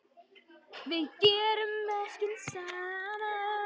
Við gerum verkin saman.